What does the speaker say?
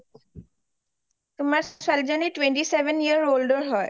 তোমাৰ ছোৱালী জনী twenty seven year old ৰ হয়